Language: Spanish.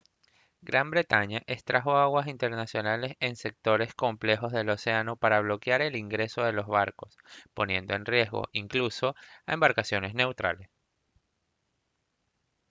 gran bretaña extrajo aguas internacionales en sectores completos del océano para bloquear el ingreso de los barcos poniendo en riesgo incluso a embarcaciones neutrales